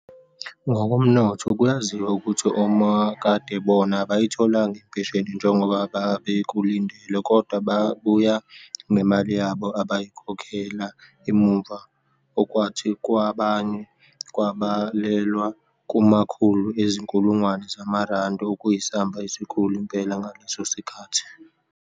Ngokomnotho, kuyaziwa ukuthi omakadebona abayitholanga impesheni njengoba bebekulindele kodwa babuya nemali yabo abayikhokhela emuva okwathi kwabanye kwabalelwa kumakhulu ezinkulungwane zamarandi, okuyisamba esikhulu impela ngaleso sikhathi.